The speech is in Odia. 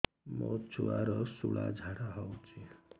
ମୋ ଛୁଆର ସୁଳା ଝାଡ଼ା ହଉଚି